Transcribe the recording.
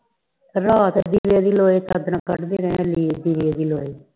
ਰਾਤ ਨੂੰ ਵੀ ਲੋਹੇ ਵਿੱਚੋ ਚਾਦਰਾ ਕੱਢਦੇ ਰਹੇ ਦੀਵੇ ਦੀ ਲੋਏ